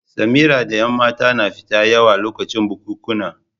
Samari da ƴan mata na fita yawo lokacin bukunkuna.